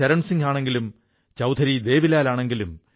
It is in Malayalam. ഇദ്ദേഹം തമിഴ്നാട്ടിലെ തൂത്തുക്കുടിയിൽ താമസിക്കുന്നു